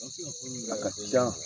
A ka can.